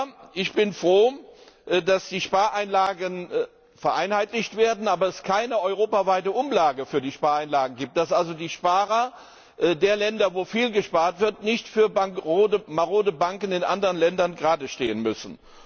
Aber ich bin froh, dass die Spareinlagen vereinheitlicht werden, aber es keine europaweite Umlage für Spareinlagen gibt, dass also die Sparer der Länder, in denen viel gespart wird, nicht für marode Banken in anderen Ländern geradestehen müssen.